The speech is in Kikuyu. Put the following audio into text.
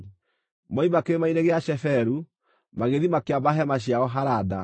Moima Kĩrĩma-inĩ gĩa Sheferu, magĩthiĩ makĩamba hema ciao Harada.